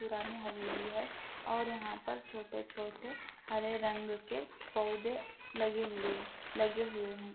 पुरानी हवेली है और यहाँ पर छोटे-छोटे हरे रंग के पौधे लगे हुए-लगे हुए है ।